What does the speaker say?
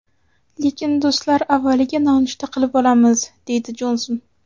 Lekin do‘stlar avvaliga nonushta qilib olamiz”, – deydi Jonson.